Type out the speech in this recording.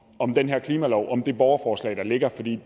om den her klimalov og det borgerforslag der ligger for vi